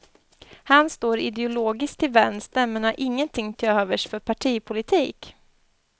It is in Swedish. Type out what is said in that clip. Han står ideologiskt till vänster men han ingenting till övers för partipolitik.